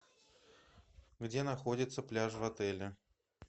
где находится пляж в отеле